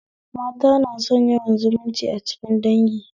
Mata na son yawan zumunci a cikin dangi